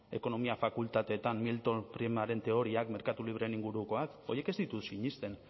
ekonomia fakultateetan milton fridmaren teoriak merkatu libreen ingurukoak horiek ez ditut sinesten